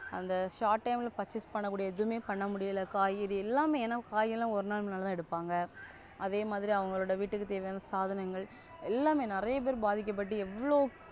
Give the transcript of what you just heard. அந்த Short time purchase பண்ணக்கூடிய எதுமே பண்ணமுடில காய்கறி எல்லாமே என காய் எல்லா ஒரு நாள் நல்ல ஏடுபங்க அதே மாதிரி அவங்களோட வீட்டுக்கு தேவையான சாதனங்கள் எல்லாமே நறியப்பெரு பாதிக்க பட்டு எவ்ளோ,